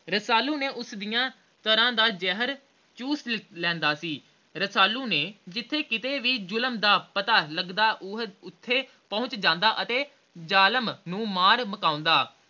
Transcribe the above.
ਰਸਾਲੂ ਨੇ ਉਸਦੀਆਂ ਤਰ੍ਹਾਂ ਦਾ ਜ਼ਹਿਰ ਚੂਸ ਲੈਂਦਾ ਸੀ ਰਸਾਲੂ ਨੇ ਜਿਥੇ ਕਿਤੇ ਵੀ ਜ਼ੁਲਮ ਦਾ ਪਤਾ ਲੱਗਦਾ ਉਹ ਓਥੇ ਪਹੁਚ ਜਾਂਦਾ ਤੇ ਜਾਲਮ ਨੂੰ ਮਾਰ ਮੁਕਾਓਦਾਂ